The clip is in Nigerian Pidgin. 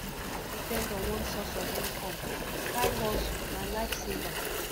no depend on one source of income side hustle na life saver